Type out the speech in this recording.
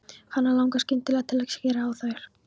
Hana langar skyndilega til að skera á þær.